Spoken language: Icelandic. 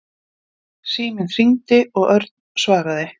Síminn hringdi og Örn svaraði.